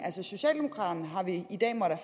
socialdemokraterne har vi i dag måttet